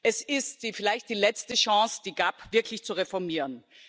Es ist vielleicht die letzte Chance, die GAP wirklich zu reformieren.